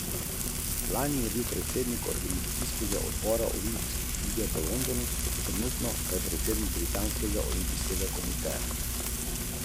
Državi sta med obiskom podpisali tudi osem dokumentov na področju transporta, carin, industrije ter zdravstva.